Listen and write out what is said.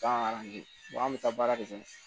Bagan di an bɛ taa baara kɛ ten